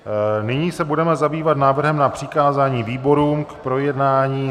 Nyní se budeme zabývat návrhem na přikázání výborům k projednání.